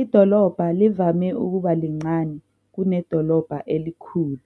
idolobha livame ukuba lincane kunedolobha elikhulu,